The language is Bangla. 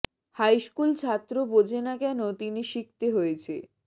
হাই স্কুল ছাত্র বোঝে না কেন তিনি শিখতে হয়েছে